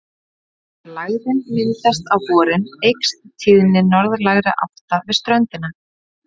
Þegar lægðin myndast á vorin eykst tíðni norðlægra átta við ströndina.